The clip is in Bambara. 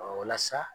walasa